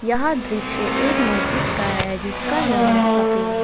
यह दृश्य एक मस्जिद का है जिसका रंग सफेद है।